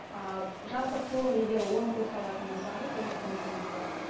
ы жалпы толық егер он курс алатын болсаңыз отыз мың теңге болады